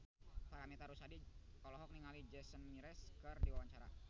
Paramitha Rusady olohok ningali Jason Mraz keur diwawancara